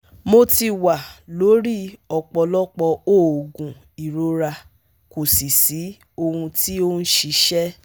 Mo ti wà lórí ọ̀pọ̀lọpọ̀ oògùn ìrora kò sì sí ohun tí ó ń ṣiṣẹ́